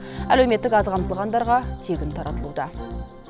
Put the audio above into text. әлеуметтік аз қамтылғандарға тегін таратылуда